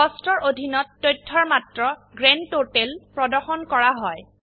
কষ্টছ এৰ অধীনত তথ্যৰ মাত্ৰ গ্ৰান্ড টোটেল প্ৰদৰ্শন কৰা হয়